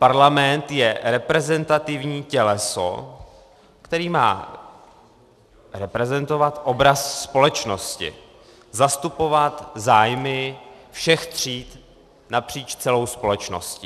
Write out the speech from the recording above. Parlament je reprezentativní těleso, které má reprezentovat obraz společnosti, zastupovat zájmy všech tříd napříč celou společností.